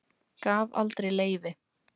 Gaf aldrei leyfi